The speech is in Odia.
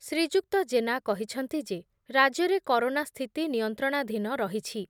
ଶ୍ରୀଯୁକ୍ତ ଜେନା କହିଛନ୍ତି ଯେ, ରାଜ୍ୟରେ କରୋନା ସ୍ଥିତି ନିୟନ୍ତ୍ରଣାଧୀନ ରହିଛି ।